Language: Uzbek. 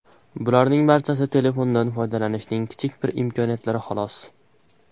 Bularning barchasi telefondan foydalanishning kichik bir imkoniyatlari, xolos.